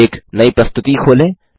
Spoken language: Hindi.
एक नई प्रस्तुति खोलें